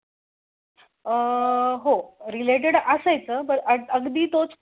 अह हो रिलेटड असायचं पण अगदी तोच पॉइंट नसा